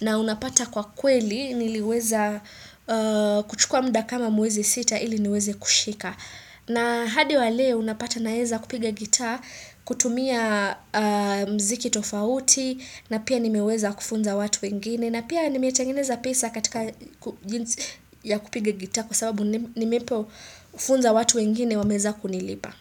na unapata kwa kweli niliweza kuchukua muda kama mwezi sita ili niweze kushika na hadi wa leo unapata naeza kupiga gita kutumia mziki tofauti na pia nimeweza kufunza watu wengine na pia nimetengeneza pesa katika jinsi ya kupiga gitaa kwa sababu nimepofunza watu wengine wameweza kuniliba.